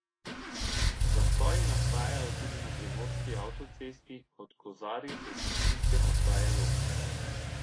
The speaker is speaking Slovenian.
Zastoji nastajajo tudi na primorski avtocesti od Kozarij do cestninske postaje Log.